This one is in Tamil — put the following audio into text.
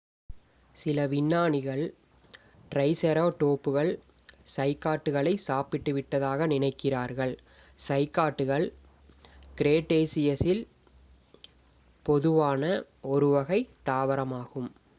சில விஞ்ஞானிகள் ட்ரைசெராடோப்புகள் சைக்காட்களை சாப்பிட்டுவிட்டதாக நினைக்கிறார்கள் சைக்காட்கள் கிரெட்டேசியஸில் பொதுவான ஒரு வகை தாவரமாகும்